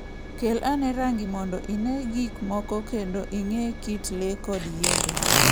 Kel ane rang'i mondo ine gik moko kendo ing'e kit le kod yiende.